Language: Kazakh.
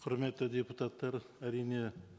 құрметті депутаттар әрине